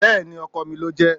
bẹẹni, ọkò mí lojé